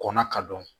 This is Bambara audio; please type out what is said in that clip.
Kɔnna ka dɔn